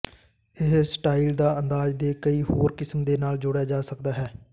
ਇਹ ਸਟਾਈਲ ਦਾ ਅੰਦਾਜ਼ ਦੇ ਕਈ ਹੋਰ ਕਿਸਮ ਦੇ ਨਾਲ ਜੋੜਿਆ ਜਾ ਸਕਦਾ ਹੈ